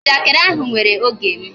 Njakịrị ahụ were oge m